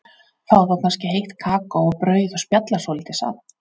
Fá þá kannski heitt kakó og brauð og spjalla svolítið saman.